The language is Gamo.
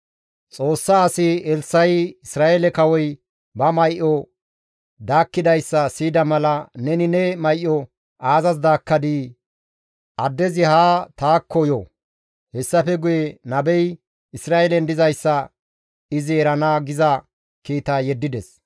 Xoossa asi Elssa7i Isra7eele kawoy ba may7o daakkidayssa siyida mala, «Neni ne may7o aazas daakkadii? Addezi haa taakko yo; hessafe guye nabey Isra7eelen dizayssa izi erana» giza kiita yeddides.